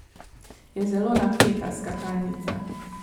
Je zelo napeta skakalnica.